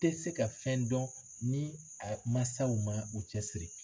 tɛ se ka fɛn dɔn ni a mansaw ma u cɛsiri